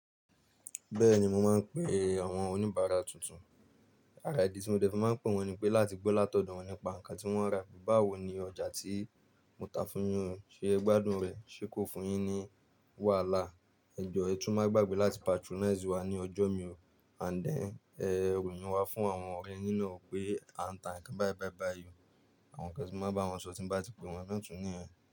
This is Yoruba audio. Bẹ́ẹ̀ni mo máa ń pe àwọn oníbàárà tuntun. Àráìdì tí mo dẹ́kun máa ń pè wọ́n ni pé láti gbọ́ látọ̀dọ̀ wọ́n nípa nǹkan tí wọ́n rà. Báwo ni ojà tí mo tà fún yín se e gbadùn re. Ṣé kò fún yín ní wàhálà? Ẹ jọ ẹtù máa gbàgbé láti patronize wá ní ọjọ́ mìí. And then, ẹ ròyìn wá fún àwọn ọ̀rẹ́ yí nú ọ̀ pé a ń tà nǹkan be be be o. Àwọn nkán tí mo máa bá wọn sọ tí n bá ti pè wọ́n náà tún nìyẹn.